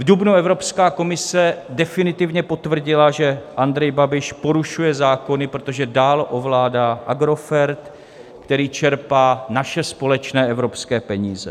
V dubnu Evropská komise definitivně potvrdila, že Andrej Babiš porušuje zákony, protože dál ovládá Agrofert, který čerpá naše společné evropské peníze.